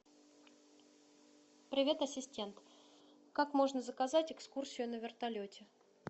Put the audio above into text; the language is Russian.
привет ассистент как можно заказать экскурсию на вертолете